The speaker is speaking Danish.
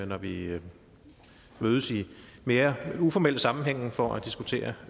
når vi mødes i mere uformelle sammenhænge for at diskutere